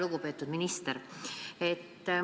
Lugupeetud minister!